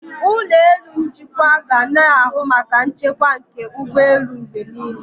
Ụlọ elu njikwa ga na-ahụ maka nchekwa nke ụgbọelu mgbe niile.